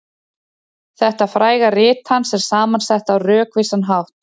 Þetta fræga rit hans er saman sett á rökvísan hátt.